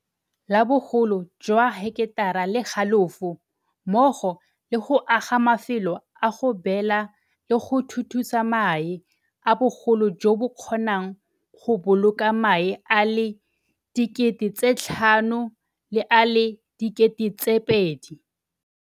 la bogolo jwa heketara le halofo mmogo le go aga mafelo a go beela le go thuthusa mae a bogolo jo bo kgonang go boloka mae a le 5 000 le a le 2 000.